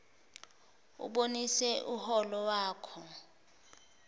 ubonise uholo wakho